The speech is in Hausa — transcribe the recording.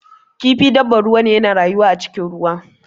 Kifi dabbar ruwa ne, yana rayuwa a cikin ruwa.